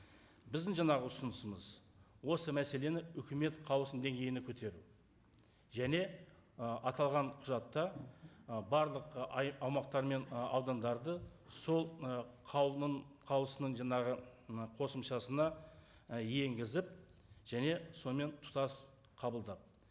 біздің жаңағы ұсынысымыз осы мәселені үкімет қаулысының деңгейіне көтеру және ы аталған құжатта ы барлық ы аумақтар мен ы аудандарды сол мына қаулының қаулысының жаңағы мына қосымшасына ы енгізіп және сонымен тұтас қабылдап